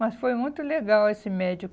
Mas foi muito legal esse médico.